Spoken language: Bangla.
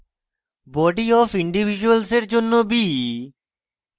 body অফ ইন্ডিভিজ্যুয়ালসের জন্য b